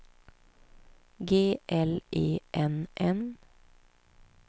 G L E N N